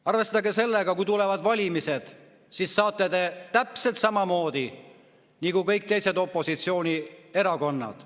Arvestage sellega, et kui tulevad valimised, siis saate te täpselt samamoodi nagu kõik teised, opositsioonierakonnad.